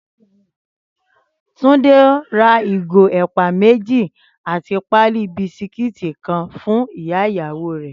Túndé ra ìgò ẹ̀pà méjì àti pálí bisikíìtì kan fún ìyá ìyàwó rẹ̀